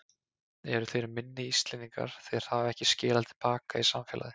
Eru þeir minni Íslendingar því þeir hafa ekki skilað til baka í samfélagið?